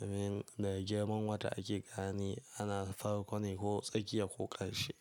domin daga girman wata ake gane ana farko ne ko tsakiya ko ƙarshe.